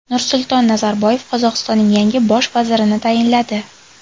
Nursulton Nazarboyev Qozog‘istonning yangi bosh vazirini tayinladi.